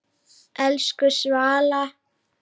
Elsku Svala.